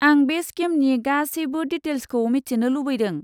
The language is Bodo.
आं बे स्किमनि गासैबो डिटेइल्सखौ मिथिनो लुबैदों।